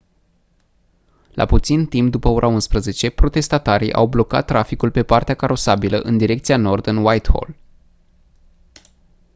la puțin timp după ora 11:00 protestatarii au blocat traficul pe partea carosabilă în direcția nord în whitehall